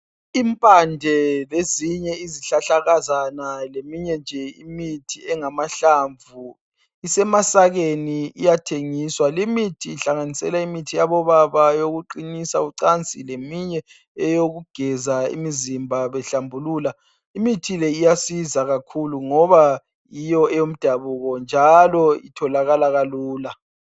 Impande lezinye izihlahlakazane leyinye imithi njee engamahlanvu isemasakeni iyathengiswa, lemithi ihlanganisela imithi yabo baba ecinisa ucani leminye oyokugeza imizimba behlambulula imithi leyi iyasiza kakhulu bgoba yiyo eyomdabuko njalo itholakala kalula.